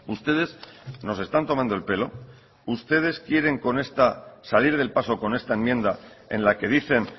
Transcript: ustedes nos están tomando el pelo ustedes quieren salir del paso con esta enmienda en la que dicen